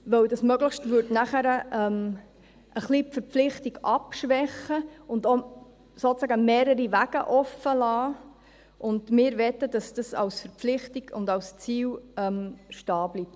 Denn dieses «möglichst» würde nachher die Verpflichtung ein wenig abschwächen und auch sozusagen mehrere Wege offenlassen, und wir möchten, dass das als Verpflichtung und als Ziel so stehen bleibt.